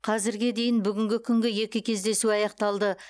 қазірге дейін бүгінгі күнгі екі кездесу аяқталды